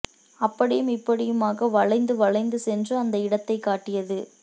அப்படியும் இப்படியுமாக வளைந்து வளைந்து சென்று அந்த இடத்தைக் காட்டியது